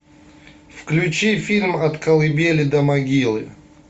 включи фильм от колыбели до могилы